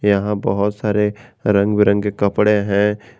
यहां बहुत सारे रंग बिरंगे कपड़े हैं।